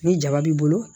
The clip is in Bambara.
Ni jaba b'i bolo